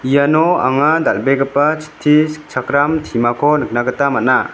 iano anga dal·begipa chitti sikchakram timako nikna gita man·a.